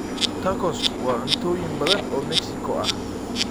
Tacos waa cuntooyin badan oo Mexico ah.